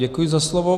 Děkuji za slovo.